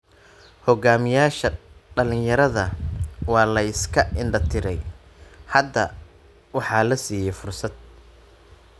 Hogaamiyaasha dhalinyarada waa la iska indhatiray. Hadda waxaa la siiyay fursad.